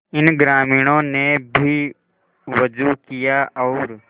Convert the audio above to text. इन ग्रामीणों ने भी वजू किया और